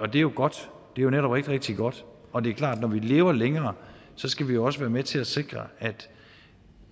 er jo godt det er netop rigtig rigtig godt og det er klart at når vi lever længere skal vi også være med til at sikre at